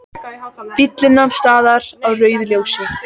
Bíllinn nam staðar á rauðu ljósi.